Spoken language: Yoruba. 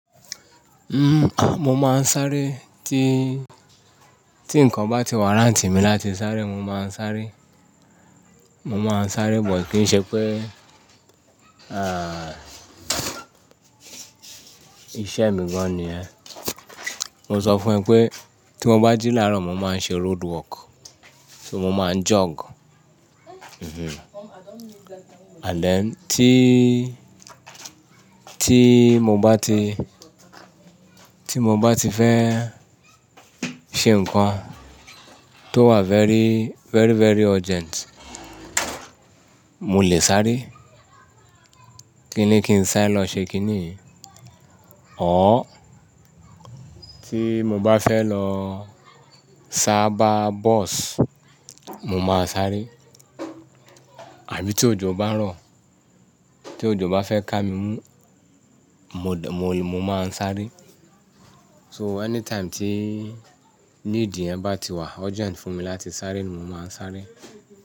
N-- mo máa ń sáré tí, tí nǹkan bá ti wàráǹtì mi láti sáré, mo máa ń sáré. Mo máa ń sáré, but kì ń ṣe pé, à, iṣẹ́ mi gan ni yẹ. Mo sọ fún ẹ pé tí mo bá jí láàárọ̀, mo máa ń ṣe roadwork, so mo máa ń jog. And then tí, tí mo bá ti, tí mo bá ti fẹ́ ṣe nǹkan tó wà very, very, very urgent, mo lè sáré. Kíni kín sáré lọ ṣe kíni? Ọ̀r. Tí mo bá fẹ́ lọ sáábà bọ́ọ̀sì, mo máa sáré. Àbí tí òjò bá ń rọ̀, tí òjò bá fẹ́ ká mi mú, mo d-- mo, mo máa ń sáré. So any time tí need yẹn bá ti wà urgent fún mi láti sáré ni mo máa ń sáré.